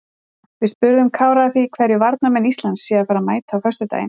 Við spurðum Kára að því hverju varnarmenn Íslands séu að fara að mæta á föstudaginn?